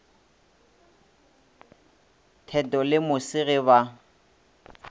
theto le mose ge ba